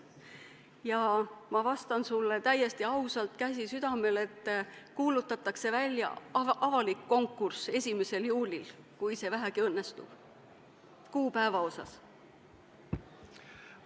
Ja ma vastan sulle täiesti ausalt, käsi südamel, et 1. juulil kuulutatakse välja avalik konkurss, kui see vähegi sel kuupäeval võimalik on.